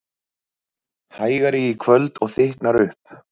Hægari í kvöld og þykknar upp